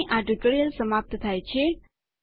અહીં આ ટ્યુટોરીયલ સમાપ્ત થાય છે